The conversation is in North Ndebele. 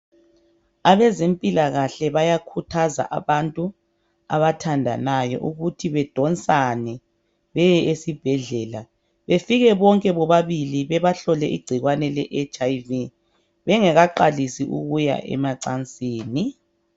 Abezempilakahle bayakhuthaza abantu abathandanayo ukuthi bedonsane beye esibhedlela, befike bonke bobabili bebahlole igcikwane le HIV. Bengakaqalisi ukuya emacansini